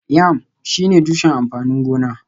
Yam shine tushen amfanin gona